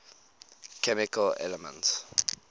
chemical elements